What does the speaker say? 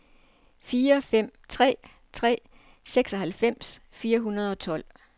fire fem tre tre seksoghalvfems fire hundrede og tolv